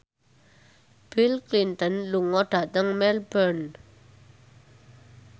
Bill Clinton lunga dhateng Melbourne